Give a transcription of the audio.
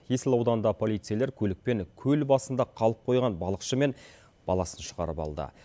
есіл ауданында полицейлер көлікпен көл басында қалып қойған балықшы мен баласын шығарып алды